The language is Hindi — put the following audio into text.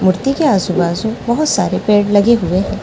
मूर्ति के आजू -बाजू बहुत सारे पेड़ लगे हुए हैं ।